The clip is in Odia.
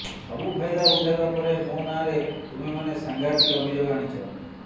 ସବୁ ଫାଇଦା ଉଠାଇବା ପରେ ମୋ ନାଁରେ ତୁମେମାନେ ସାଂଘାତିକ ଅଭିଯୋଗ ଆଣିଛ